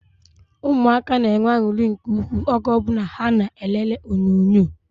Ụmụaka na-enwe anuri nke ukwuu oge o bula ha na elele onyonyo